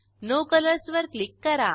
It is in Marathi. नो कलर्स वर क्लिक करा